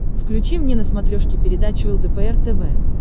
включи мне на смотрешке передачу лдпр тв